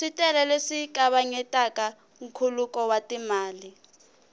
switele leswi kavanyetaka nkhuluko wa timali